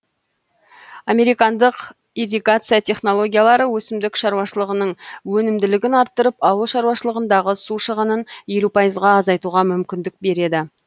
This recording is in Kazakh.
американдық ирригация технологиялары өсімдік шаруашылығының өнімділігін арттырып ауыл шаруашылығындағы су шығынын елу пайызға азайтуға мүмкіндік береді